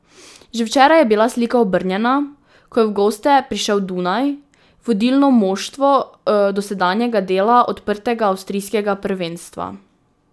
Že včeraj je bila slika obrnjena, ko je v goste prišel Dunaj, vodilno moštvo dosedanjega dela odprtega avstrijskega prvenstva.